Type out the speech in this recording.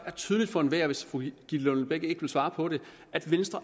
er tydeligt for enhver hvis fru gitte lillelund bech ikke vil svare på det venstre